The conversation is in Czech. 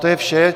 To je vše.